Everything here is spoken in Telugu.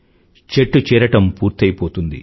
చెట్టు చీరడం పూర్తయిపోతుంది